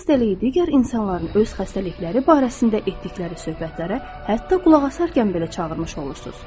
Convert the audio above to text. Siz xəstəliyi digər insanların öz xəstəlikləri barəsində etdikləri söhbətlərə hətta qulaq asarkən belə çağırmış olursunuz.